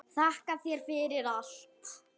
Þakka þér fyrir allt.